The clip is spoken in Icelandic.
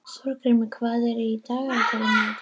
Þorgrímur, hvað er í dagatalinu í dag?